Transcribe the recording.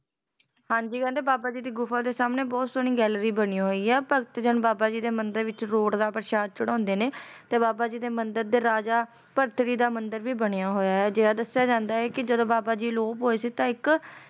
ਹਾਂਜੀ ਕਹਿੰਦੇ ਬਾਬਾ ਜੀ ਦੀ ਗੁਫਾ ਦੇ ਸਾਹਮਣੇ ਬਹੁਤ ਸੋਹਣੀ gallery ਬਣੀ ਹੋਈ ਆ ਭਗਤ ਜਨ ਬਾਬਾ ਜੀ ਦੇ ਮੰਦਿਰ ਦੇ ਵਿੱਚ ਰੋਟ ਦਾ ਪ੍ਰਸ਼ਾਦ ਚੜਾਉਂਦੇ ਨੇ ਤੇ ਬਾਬਾ ਜੀ ਦੇ ਮੰਦਿਰ ਦੇ ਰਾਜਾ ਭਗਤ ਜੀ ਦਾ ਮੰਦਿਰ ਵੀ ਬਣਿਆ ਹੋਇਆ ਏ ਅਜਿਹਾ ਦੱਸਿਆ ਜਾਂਦਾ ਕੇ ਜਦੋ ਬਾਬਾ ਜੀ ਅਲੋਪ ਹੋਏ ਸੀ ਤਾਂ ਇੱਕ